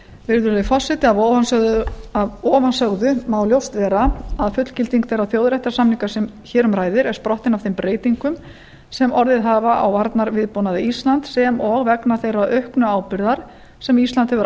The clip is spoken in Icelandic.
virðulegi forseti af ofansögðu má ljóst vera að fullgilding þeirra þjóðréttarsamninga sem hér um ræðir er sprottinn af þeim breytingum sem orðið hafa á varnarviðbúnaði íslands sem og vegna þeirrar auknu ábyrgðar sem ísland hefur